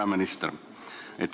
Peaminister!